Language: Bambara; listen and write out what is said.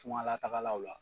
Tuŋalatagalaw la